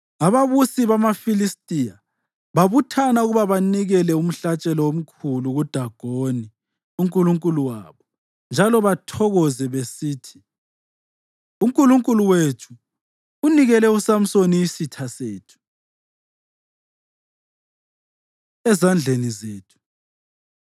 Ababusi bamaFilistiya babuthana ukuba banikele umhlatshelo omkhulu kuDagoni uNkulunkulu wabo njalo bathokoze besithi, “Unkulunkulu wethu unikele uSamsoni, isitha sethu, ezandleni zethu.”